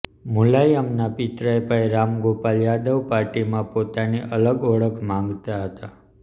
મુલાયમના પિતરાઈ ભાઈ રામગોપાલ યાદવ પાર્ટીમાં પોતાની અલગ ઓળખ માગતા હતા